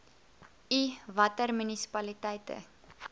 i watter munisipaliteite